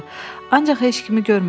Ancaq heç kimi görmədi.